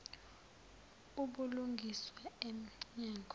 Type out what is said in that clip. ubulungiswa em nyango